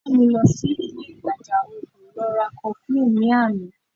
Ìyá mi lọ sí ile ìtajà oògùn lọ ra cofflin ní àná